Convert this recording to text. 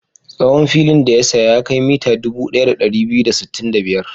Tsawon filin da ya saya ya kai mita dubu ɗaya da ɗari biyu da sittin da biyar.